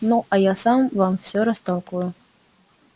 ну а я сам вам всё растолкую